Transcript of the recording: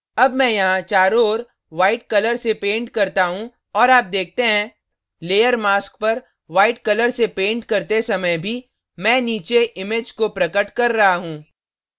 अब मैं यहाँ चारों ओर white color से paint करता हूँ और आप देखते हैं layer mask पर white color से paint करते समय भी मैं नीचे image को प्रकट कर रहा हूँ